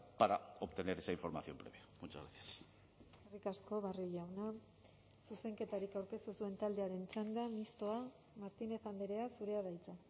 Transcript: para obtener esa información previa muchas gracias eskerrik asko barrio jauna zuzenketarik aurkeztu ez duen taldearen txanda mistoa martínez andrea zurea da hitza